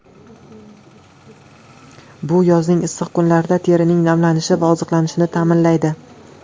Bu yozning issiq kunlarida terining namlanishi va oziqlanishini ta’minlaydi.